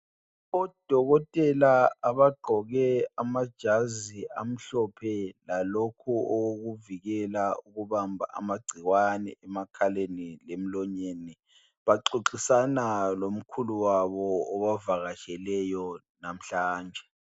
Odokotela abagqoke amajazi amhlophe lalokho okokuvikela ukubamba amagciwane emakhaleni lemlonyeni. Baxoxisana lomkhulu wabo obavakatsheleyo namhlanje.